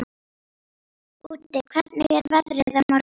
Úddi, hvernig er veðrið á morgun?